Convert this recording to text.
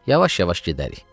Yavaş-yavaş gedərik.